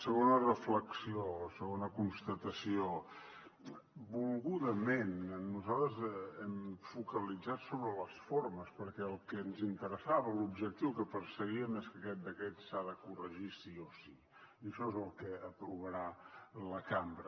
segona reflexió o segona constatació volgudament nosaltres hem focalitzat sobre les formes perquè el que ens interessava l’objectiu que perseguíem és que aquest decret s’ha de corregir sí o sí i això és el que aprovarà la cambra